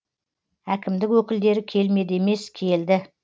әкімдік өкілдері келмеді емес келді